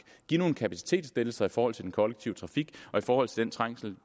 give nogle kapacitetslettelser i forhold til den kollektive trafik og i forhold til den trængsel